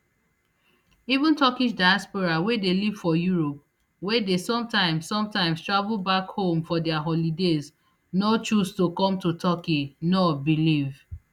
even turkish diaspora wey dey live for europe wey dey sometimes sometimes travel back home for dia holidays no choose to come to turkey nur believe